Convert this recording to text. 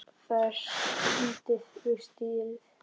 Það er stunið við stýrið.